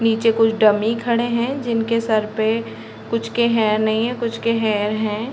नीचे कुछ डमी खड़े है जिनके सर पे कुछ के हेयर नहीं हैं कुछ के है।